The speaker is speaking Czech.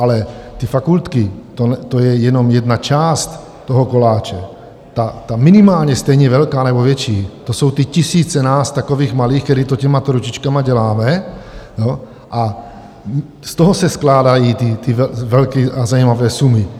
Ale ty fakultky, to je jenom jedna část toho koláče, ta minimálně stejně velká nebo větší, to jsou ty tisíce nás takových malých, kteří to těmato ručičkama děláme, a z toho se skládají ty velké a zajímavé sumy.